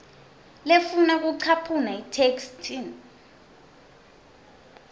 lefuna kucaphuna etheksthini